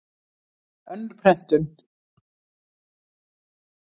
Önnur prentun.